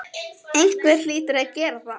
Einhver hlýtur að gera það.